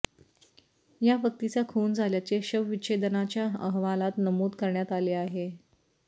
या व्यक्तीचा खून झाल्याचे शवविच्छेदनाच्या अहवालात नमूद करण्यात आले आहे